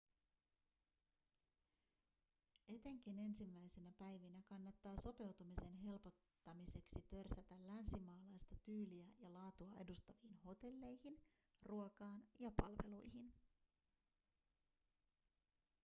etenkin ensimmäisinä päivinä kannattaa sopeutumisen helpottumiseksi törsätä länsimaalaista tyyliä ja laatua edustaviin hotelleihin ruokaan ja palveluihin